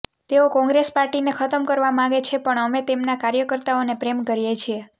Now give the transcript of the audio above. તેઓ કોંગ્રેસ પાર્ટીને ખતમ કરવા માગે છે પણ અમે તેમના કાર્યકર્તાઓને પ્રેમ કરીએ છીએ